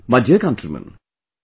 My dear countrymen,